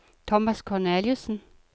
Thomas Korneliussen